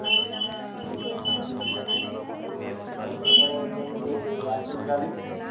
କେତବେଳେ କହିଲୁ ଆସିବୁ କାଲି?